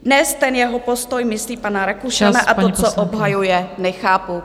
Dnes ten jeho postoj, myslím pana Rakušana, a to, co obsahuje, nechápu.